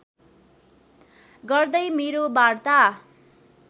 गर्दै मेरो वार्ता